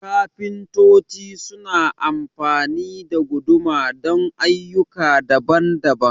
kafintoci su na amfani da guduma don ayyuka daban-daban